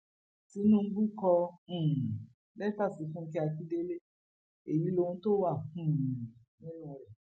tinubu kọ um lẹtà sí fúnkẹ akíndélé èyí lóhun tó wà um nínú rẹ